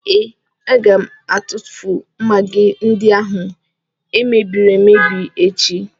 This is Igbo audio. Ee, aga m atụfu magị ndị ahụ e mebiri emebi echi.